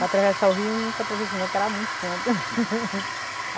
Para atravessar o rio nunca atravessei não, porque era muito fundo.